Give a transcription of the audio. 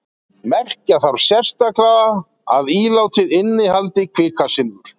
Merkja þarf sérstaklega að ílátið innihaldi kvikasilfur.